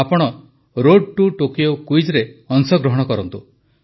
ଆପଣ road to Tokyo କୁଇଜରେ ଅଂଶଗ୍ରହଣ କରନ୍ତୁ